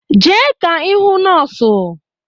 Jee ka ị hụ nọọsụ!